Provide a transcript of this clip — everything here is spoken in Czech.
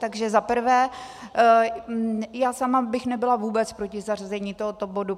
Takže za prvé, já sama bych nebyla vůbec proti zařazení tohoto bodu.